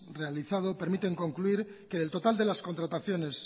realizado permiten concluir que del total de las contrataciones